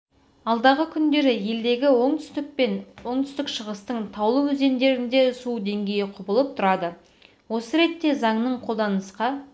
алдағы күндері елдегі оңтүстік пен оңтүстік-шығыстың таулы өзендерінде су деңгейі құбылып тұрады осы ретте заңның қолданысқа